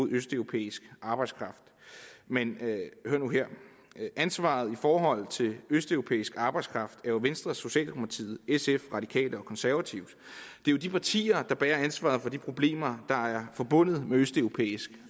østeuropæisk arbejdskraft men hør nu her ansvaret i forhold til østeuropæisk arbejdskraft er jo venstres socialdemokratiets sfs radikales og konservatives det er de partier der bærer ansvaret for de problemer der er forbundet med østeuropæisk